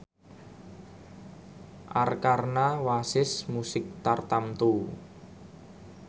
Arkarna wasis musik tartamtu